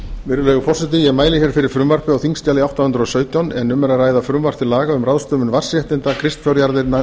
virðulegi forseti ég mæli hér fyrir frumvarpi á þingskjali átta hundruð og sautján en um er að ræða frumvarp til laga um ráðstöfun vatnsréttinda kristfjárjarðanna